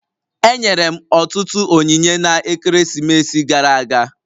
Enyere m ọtụtụ onyinye na-ekeresimesi gara aga